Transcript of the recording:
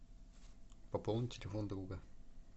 пополни телефон друга